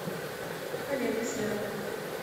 коллекция